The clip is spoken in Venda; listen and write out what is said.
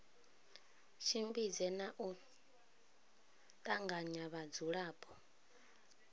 tshimbidze na u tanganya vhadzulapo